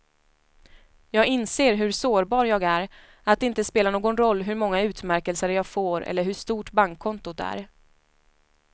Jag inser hur sårbar jag är, att det inte spelar någon roll hur många utmärkelser jag får eller hur stort bankkontot är.